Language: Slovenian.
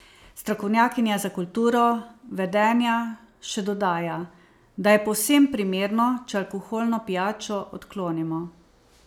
Strokovnjakinja za kulturo vedenja še dodaja, da je povsem primerno, če alkoholno pijačo odklonimo.